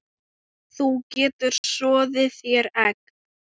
Þú getur soðið þér egg